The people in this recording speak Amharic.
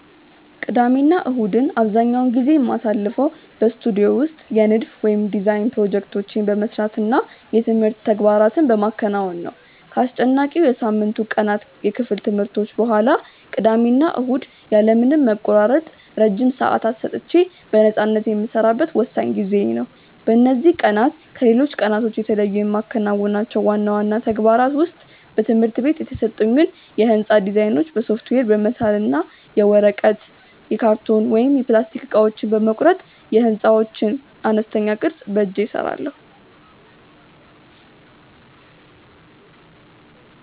ቅዳሜና እሁድን አብዛኛውን ጊዜ የማሳልፈው በስቱዲዮ ውስጥ የንድፍ (Design) ፕሮጀክቶቼን በመስራት እና የትምህርት ተግባራትን በማከናወን ነው። ከአስጨናቂው የሳምንቱ ቀናት የክፍል ትምህርቶች በኋላ፣ ቅዳሜና እሁድ ያለ ምንም መቆራረጥ ረጅም ሰዓታት ሰጥቼ በነፃነት የምሰራበት ወሳኝ ጊዜዬ ነው። በእነዚህ ቀናት ከሌሎች ቀናት የተለዩ የማከናውናቸው ዋና ዋና ተግባራት ውስጥ በትምህርት ቤት የተሰጡኝን የሕንፃ ዲዛይኖች በሶፍትዌር በመሳል እና የወረቀት፣ የካርቶን ወይም የፕላስቲክ እቃዎችን በመቁረጥ የሕንፃዎችን አነስተኛ ቅርፅ በእጄ እሰራለሁ።